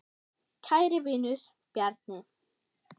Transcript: Kæri vinur, Bjarni.